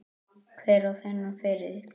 Hver á þennan feril?